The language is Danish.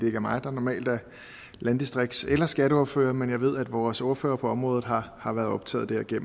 er mig der normalt er landdistrikts eller skatteordfører men jeg ved at vores ordfører på området har har været optaget af det